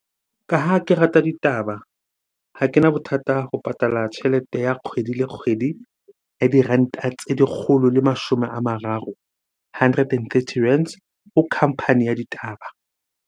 Ka ha ke rata ditaba, ha kena bothata ho patala tjhelete ya kgwedi le kgwedi ya diranta tse lekgolo le mashome a mararo, hundred and thirty rands ho company ya ditaba.